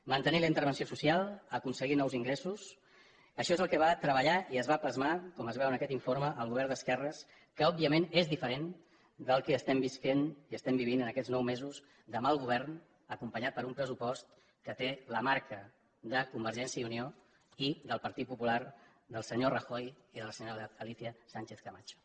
mantenir la intervenció social aconseguir nous ingressos això és el que va treballar i va plasmar com es veu en aquest informe el govern d’esquerres que òbviament és diferent del que estem vivint en aquests nous mesos de mal govern acompanyat per un pressupost que té la marca de convergència i unió i del partit popular del senyor rajoy i de la senyora alicia sánchez camacho